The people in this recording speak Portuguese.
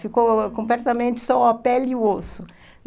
Ficou completamente só a pele e o osso.